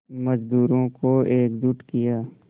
मज़दूरों को एकजुट किया